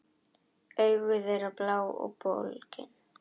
Augu þeirra blá og bólgin.